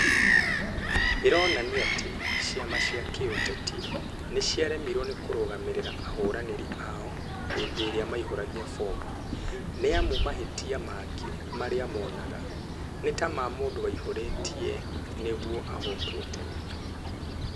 "ĩronania atĩ ciama cia kĩũteti, niciaremirwo ni kurugamirira ahuraniri ao hinfi-iria maihuragua bomu, ni amu mahitia magi maria monega ni ta ma mumdu waiyuritie niguo ahotwo tene